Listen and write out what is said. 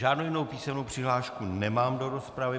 Žádnou jinou písemnou přihlášku nemám do rozpravy.